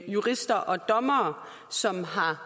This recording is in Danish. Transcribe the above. jurister og dommere som har